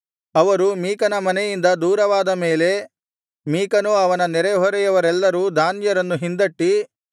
ಅವರು ಮೀಕನ ಮನೆಯಿಂದ ದೂರವಾದ ಮೇಲೆ ಮೀಕನೂ ಅವನ ನೆರೆಹೊರೆಯವರೆಲ್ಲರೂ ದಾನ್ಯರನ್ನು ಹಿಂದಟ್ಟಿ